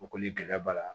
O kɔni gɛlɛya b'a la